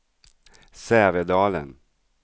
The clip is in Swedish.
Sävedalen